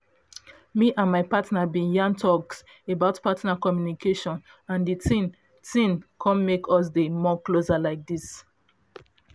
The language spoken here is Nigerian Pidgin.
me and my partner been yan talks about partner communication and the thing thing come make us dey more closer like this